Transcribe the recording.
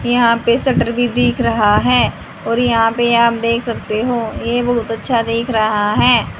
यहां पे शटर भी दिख रहा है और यहां पे आप देख सकते हो ये बहुत अच्छा दिख रहा है।